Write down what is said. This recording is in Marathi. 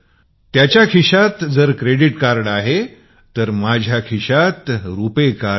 त्याच्या खिशात ही क्रेडिट कार्ड आहे माझ्या खिश्यात रुपाय कार्ड आहे